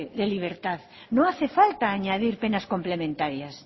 de libertad no hace falta añadir penas complementarias